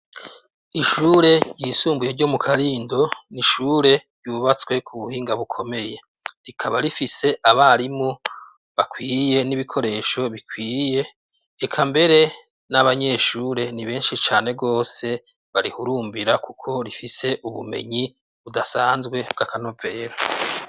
Ishure ryisumbuye ryo Mu karindo ,n'ishure ryubatswe ku buhinga bukomeye, rikaba rifise Abarimu bakwiye n'Ibikoresho bikwiye ,eka mbere n'Abanyeshure ni benshi cane gose barihurumbira, kuko rifise ubumenyi budasanzwe bw'Akanovera.